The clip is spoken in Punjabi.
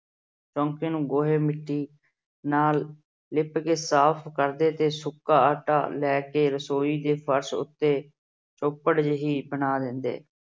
ਚੌਂਕੇ ਨੂੰ ਲਿਪ ਕੇ ਗੋਹੇ ਮਿੱਟੀ ਨਾਲ ਸਾਫ਼ ਕਰਦੇ ਤੇ ਸੁੱਕਾ ਆਟਾ ਲੈ ਕੇ ਰਸੋਈ ਦੇ ਫਰਸ਼ ਉੱਤੇ ਚੌਪੜ ਜਿਹੀ ਬਣਾ ਦਿੰਦੇ।